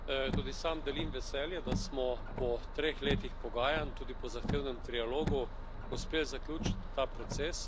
Tudi sam delim veselje, da smo po treh letih pogajanj, tudi po zahtevnem trialogu, uspeli zaključiti ta proces.